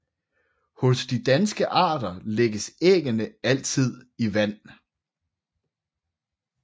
Hos de danske arter lægges æggene altid i vand